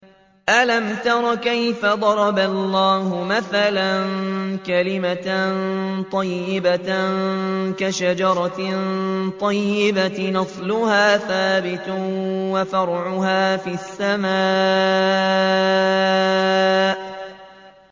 أَلَمْ تَرَ كَيْفَ ضَرَبَ اللَّهُ مَثَلًا كَلِمَةً طَيِّبَةً كَشَجَرَةٍ طَيِّبَةٍ أَصْلُهَا ثَابِتٌ وَفَرْعُهَا فِي السَّمَاءِ